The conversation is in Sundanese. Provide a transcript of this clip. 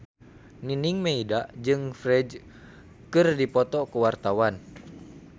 Nining Meida jeung Ferdge keur dipoto ku wartawan